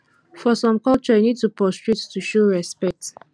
for some culture you need to prostrate to show respect